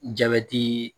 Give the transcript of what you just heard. Jabɛti